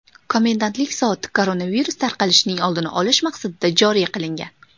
Komendantlik soati koronavirus tarqalishining oldini olish maqsadida joriy qilingan.